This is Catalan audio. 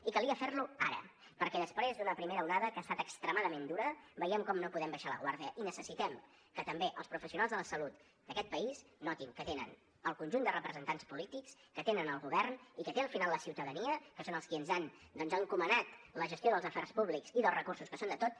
i calia fer lo ara perquè després d’una primera onada que ha estat extremadament dura veiem com no podem baixar la guàrdia i necessitem que també els professionals de la salut d’aquest país notin que tenen el conjunt de representants polítics que tenen el govern i que tenen al final la ciutadania que són els qui ens han encomanat la gestió dels afers públics i dels recursos que són de tots